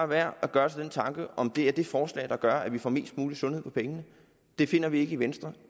værd at gøre sig den tanke om det er det forslag der gør at vi får mest mulig sundhed for pengene det finder vi ikke i venstre og